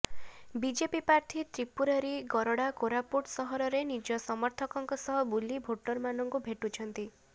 BJP ପ୍ରାର୍ଥୀ ତ୍ରୀପୁରାରୀ ଗରଡା କୋରାପୁଟ ସହରରେ ନିଜ ସମର୍ଥକଙ୍କ ସହ ବୁଲି ଭୋଟରମାନଙ୍କୁ ଭେଟୁଛନ୍ତି